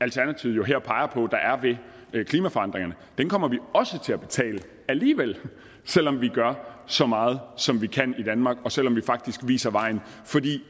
alternativet jo her peger på at der er ved klimaforandringerne kommer vi også til at betale alligevel selv om vi gør så meget som vi kan i danmark og selv om vi faktisk viser vejen for de